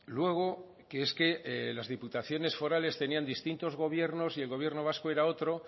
luego que es que las diputaciones forales tenían distintos gobiernos y el gobierno vasco era otro